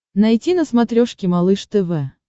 найти на смотрешке малыш тв